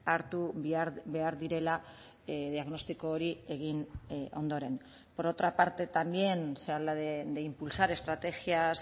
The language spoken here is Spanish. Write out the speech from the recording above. hartu behar direla diagnostiko hori egin ondoren por otra parte también se habla de impulsar estrategias